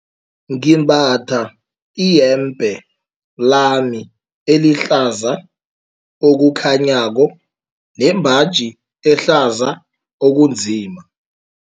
Ngimbatha iyembe lami elihlaza okukhanyako nembaji ehlaza okunzima.